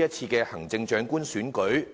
是次行政長官選舉的看法。